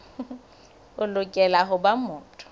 o lokela ho ba motho